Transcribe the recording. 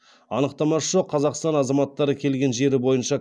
анықтамасы жоқ қазақстан азаматтары келген жері бойынша